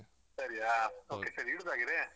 ಸರಿಯಾ okay ಸರಿ ಇಡುದ ಹಾಗಿದ್ರೆ.